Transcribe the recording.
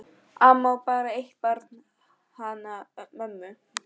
Amma á bara eitt barn, hana mömmu.